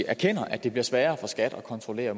erkender at det bliver sværere for skat at kontrollere